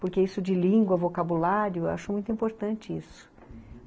Porque isso de língua, vocabulário, eu acho muito importante isso.